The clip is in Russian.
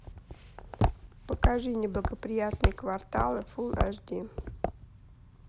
покажи неблагоприятные кварталы фулл аш ди